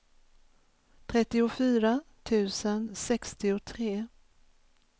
trettiofyra tusen sextiotre